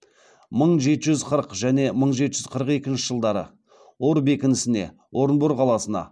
мың жеті жүз қырық және мың жеті жүз қырық екінші жылдары ор бекінісіне орынбор қаласына